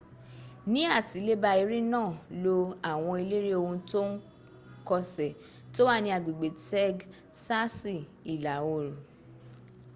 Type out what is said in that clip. ni atileba ere naa lo awon elere ohun to n kose to wa ni agbegbe tegsasi ila oru